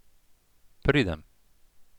Pridem.